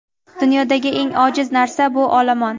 Dunyodagi eng ojiz narsa – bu olomon.